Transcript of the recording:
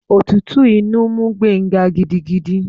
Òtútù inú mú Gbenga gidigidi.